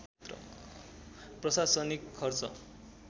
प्रशासनिक खर्च